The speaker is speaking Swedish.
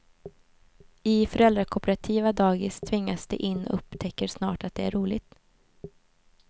I föräldrakooperativa dagis tvingas de in och upptäcker snart att det är roligt.